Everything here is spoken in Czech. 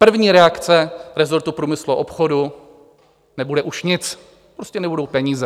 První reakce resortu průmyslu a obchodu: nebude už nic, prostě nebudou peníze.